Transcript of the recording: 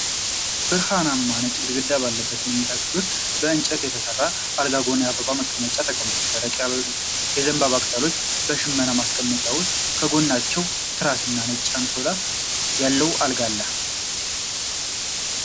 ብርሃናማ ነጭ ግድግዳ ባለበት መኝታ ክፍል ውስጥ፣ ከእንጨት የተሰራ አልጋ ጎን የአበባ ማስቀመጫ ተቀምጧል። ደረቅ የዘንባባ ቅጠሎች በሽመና ማስቀመጫ ውስጥ፣ ከጎናቸውም ትራስና ነጭ አንሶላ ያለው አልጋ አለ።